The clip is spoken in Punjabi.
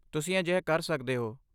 ਤੁਸੀਂ ਅਜਿਹਾ ਕਰ ਸਕਦੇ ਹੋ।